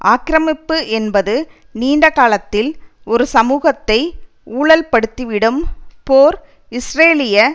ஆக்கிரமிப்பு என்பது நீண்ட காலத்தில் ஒரு சமூகத்தை ஊழல்படுத்திவிடும் போர் இஸ்ரேலிய